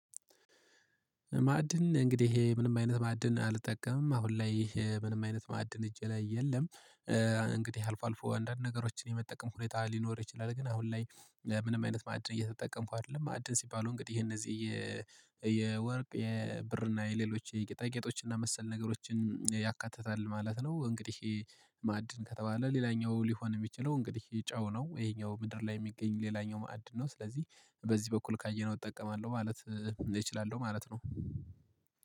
ማዕድን እንግዲህ ምንም አይነት ማዕድን አልጠቀምም አሁን ላይ ምንም አይነት ማዕድን እጄ ላይ የለም። እንግዲህ አልፎ አልፎ አንዳንድ ነገሮችን የመጠቀም ሁኔታ ሊኖር ይችላል። ግን አሁን ላይ ምንም አይነት ማዕድን እየተጠቀምኩ አይደለም። ማዕድን ሲባሉ እንግዲህ የእነዚህ የወርቅ የብር የሌሎች የጌጣጌጥ እና መሰል ነገሮችን ያካትታል ማለት ነው። እንግዲህ። ማዕድን ከተባለ ሌላኛው ሊሆን የሚችለው እንግዲህ ጨው ነው ይሄኛው ምድር ላይ የሚገኝ ሌላኛው ማዕድን ነው። ስለዚህ በዚህ በኩል ካየነው እጠቀማለሁ ማለት እችላለሁ ማለት ነው